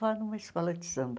Vá numa escola de samba.